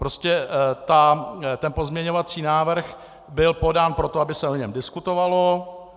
Prostě ten pozměňovací návrh byl podán proto, aby se o něm diskutovalo.